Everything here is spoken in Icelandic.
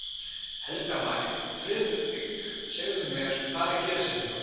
Helga María: Friðrik, segðu mér, hvað er að gerast hérna í kvöld?